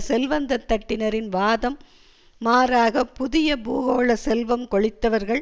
செல்வந்த தட்டினரின் வாதம் மாறாக புதிய பூகோள செல்வம் கொழித்தவர்கள்